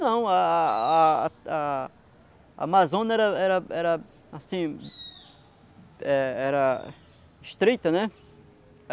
Não, a a a a a Amazônia era era era assim, é era estreita, né?